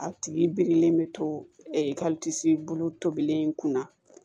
A tigi birilen bɛ to i ka bolo tobili in kun na